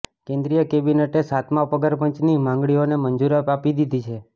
કેન્દ્રીય કેબિનેટે સાતમા પગારપંચની માંગણીઓને મંજુરી આપી દીધી છે